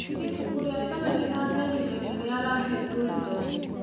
Ĩbũkũ rĩa tene rĩratherĩre rĩrĩa arahĩngũrĩre.